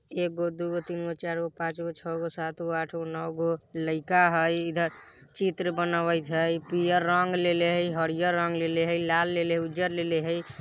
एगो दुगो तीनगो चारगो पाँचगो छगो सातगो आठगो नवगो लइका हई इधर चित्र बनावइत हई पीला रंग लेले हई हरियर रंग लेले हई लाल लेले उज्जर लेली हई।